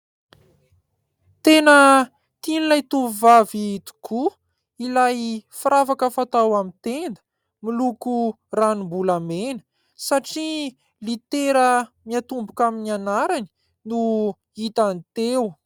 Tena tian'ilay tovovavy tokoa, ilay firavaka fatao amin'ny tenda, miloko ranombolamena satria litera miatomboka amin'ny anarany no hitany teo.